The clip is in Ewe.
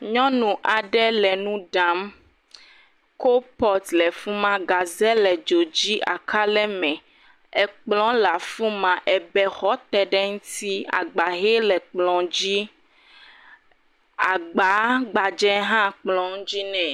Nyɔnu aɖe le nu ɖam. Kopot le fi ma, gaze le dzo dzi. Aka le eme. Ekplɔ̃ le afi ma. Ebexɔ te ɖe eŋuti. Agba hɛ le kplɔ̃ dzi. Agbaa gbadze hã le kplɔ̃ dzi nɛ.